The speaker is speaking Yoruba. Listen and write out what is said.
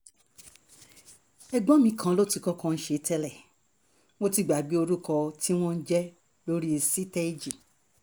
ẹ̀gbọ́n mi kan ló ti kọ́kọ́ ń ṣe é tẹ́lẹ̀ mo ti gbàgbé orúkọ tí wọ́n ń jẹ́ lórí sítẹ́èjì